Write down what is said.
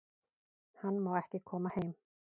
Hann má ekki koma heim